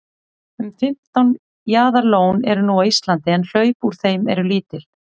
um fimmtán jaðarlón eru nú á íslandi en hlaup úr þeim eru lítil